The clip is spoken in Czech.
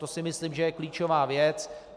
To si myslím, že je klíčová věc.